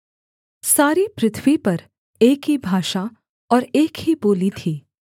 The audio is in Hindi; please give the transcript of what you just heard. सारी पृथ्वी पर एक ही भाषा और एक ही बोली थी